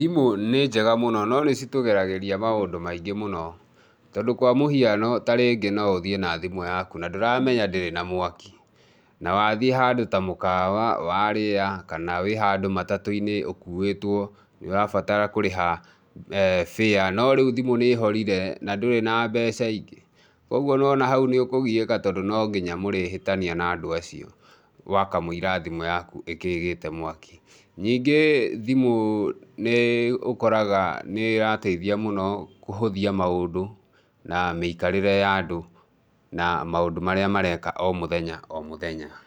Thimũ nĩ njega mũno no nĩ citũgeragĩria maũndũ maingĩ mũno, tondũ kwa mũhiano tarĩngĩ no ũthiĩ na thimũ yaku na ndũramenya ndĩrĩ na mwaki na wathiĩ handũ ta mũkawa, warĩa kana wĩ handũ matatu-inĩ ũkuĩtwo nĩ ũrabatara kũrĩha fare na ndũrĩ na mbeca ingĩ ũguo niwona hau nĩ ũkũgiĩka tondũ no nginya mũrĩhĩtania na andũ acio wakamũira thimũ yaku ĩkĩgĩte mwaki. Ningĩ thimũ nĩ ũkoraga nĩ ĩrateithia mũno kũhũthia maũndũ na mĩikarĩre ya andũ na maũndũ marĩa mareka o mũthenya o mũthenya.